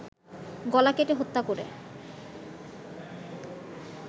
গলা কেটে হত্যা করে